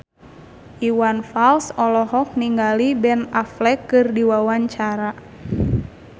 Iwan Fals olohok ningali Ben Affleck keur diwawancara